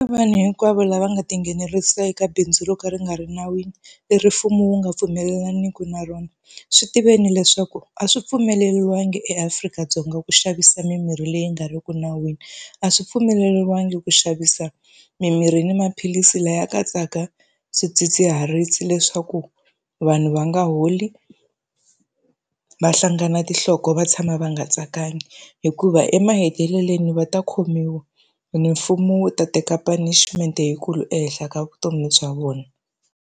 Vanhu hinkwavo lava nga tinghenelerisa eka bindzu ro ka ri nga ri nawini, leri mfumo wu nga pfumelelaniki na rona. Swi tiveni leswaku a swi pfumeleriwangi eAfrika-Dzonga ku xavisa mimirhi leyi nga ri ki nawini, a swi pfumeleriwangi ku xavisa mimirhi ni maphilisi lawa ya katsaka swidzidziharisi leswaku vanhu va nga holi, va hlangana tinhloko, va tshama va nga tsakanga. Hikuva emahetelelweni va ta khomiwa ene mfumo wu ta teka punishment-e leyikulu ehenhla ka vutomi bya vona.